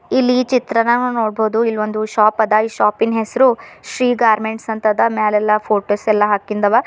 ಇಲ್ಲಿ ಚಿತ್ರಾನಾಗ್ ನಾವ್ ನೋಡ್ಬಹುದು ಇಲ್ಲೊಂದು ಶಾಪ್ ಅದ ಈ ಶಾಪಿನ್ ಹೆಸರು ಶ್ರೀ ಗಾರ್ಮೆಂಟ್ಸ್ ಹಂತದ ಮ್ಯಾಲೆಲ್ಲಾ ಫೋಟೋಸ್ ಎಲ್ಲಾ ಹಾಕಿಂದವ.